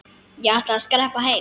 Ég ætla að skreppa heim.